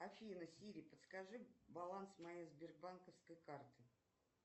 афина сири подскажи баланс моей сбербанковской карты